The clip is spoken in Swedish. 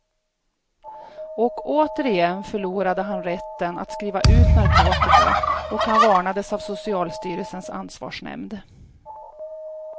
Och återigen förlorade han rätten att skriva ut narkotika och han varnades av socialstyrelsens ansvarsnämnd.